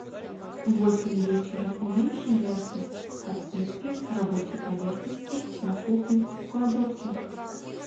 в восемь вечера уменьши яркость подсветки рабочей поверхности на кухне в кладовке